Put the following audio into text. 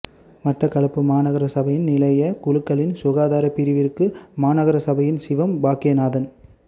மட்டக்களப்பு மாநகரசபையின் நிலையியற் குழுக்களின் சுகாதாரப் பிரிவிற்கு மாநகரசபையின் சிவம் பாக்கியநாதன்